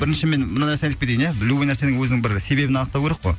бірінші мен мына нәрсені айтып кетейін ия любой нәрсенің өзінің бір себебін анықтау керек қой